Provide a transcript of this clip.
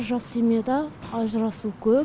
жас семьяда ажырасу көп